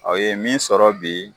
Aw ye min sɔrɔ bi